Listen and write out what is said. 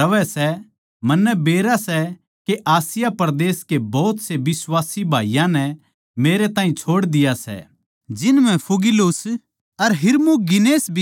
तन्नै बेरा सै के आसिया परदेस के भोत से बिश्वासी भाईयाँ नै मेरै ताहीं छोड़ दिया सै जिन म्ह फूगिलुस अर हिरमुगिनेस भी शामिल सै